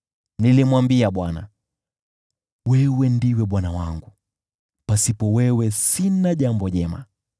Nilimwambia Bwana , “Wewe ndiwe Bwana wangu; pasipo wewe sina jambo jema.”